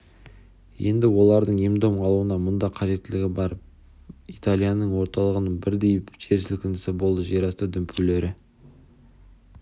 енді олардың ем-дом алуына мұнда қажеттінің бәрі бар италияның орталығында бірдей жер сілкінісі болды жерасты дүмпулері